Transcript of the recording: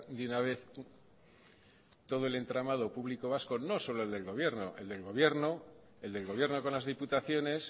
de una vez todo el entramado público vasco no solo el del gobierno el del gobierno el del gobierno con las diputaciones